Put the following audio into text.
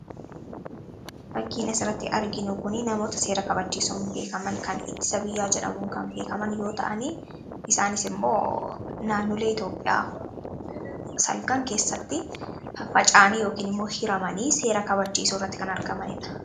Fakkiin asirratti arginu kuni namoota seera kabachiisuun beekaman kan ittisa biyyaa jedhamuun kan beekaman yoo ta'an; Isaanis immoo naannolee Itoophiyaa salgan keessatti faca'anii yookiin immoo hiramanii seera kabachiisuu irratti kan argamanidha.